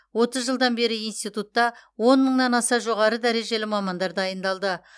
отыз жылдан бері институтта он мыңнан аса жоғары дәрежелі мамандар дайындалды